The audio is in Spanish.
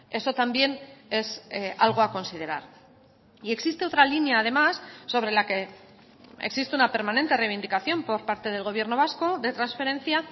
eso también es algo a considerar y existe otra línea además sobre la que existe una permanente reivindicación por parte del gobierno vasco de transferencia